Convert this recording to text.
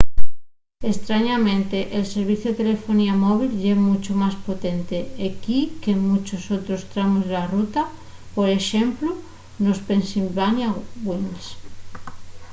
estrañamente el serviciu de telefonía móvil ye muncho más potente equí qu’en munchos otros tramos de la ruta por exemplu nos pennsylvania wilds